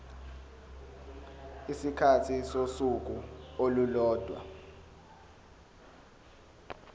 isikhathi sosuku olulodwa